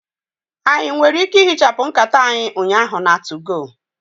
Anyị nwere ike ihichapụ nkata anyị ụnyaahụ na 2go?